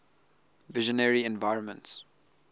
visionary environments